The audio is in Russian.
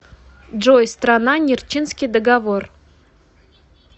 джой страна нерчинский договор